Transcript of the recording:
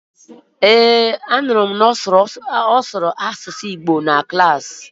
Ee, anụrụ m mgbe ọ sụrụ Asụsụ Igbo na Klaasị